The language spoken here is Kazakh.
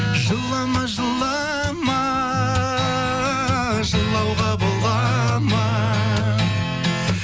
жылама жылама жылауға бола ма